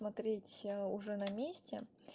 смотреть уже на месте